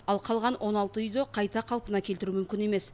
ал қалған он алты үйді қайта қалпына келтіру мүмкін емес